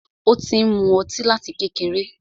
Ó ti ń mú ọtí láti kékeré.